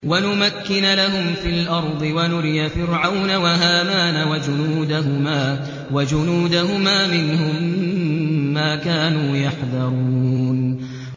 وَنُمَكِّنَ لَهُمْ فِي الْأَرْضِ وَنُرِيَ فِرْعَوْنَ وَهَامَانَ وَجُنُودَهُمَا مِنْهُم مَّا كَانُوا يَحْذَرُونَ